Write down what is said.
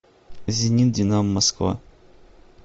зенит динамо москва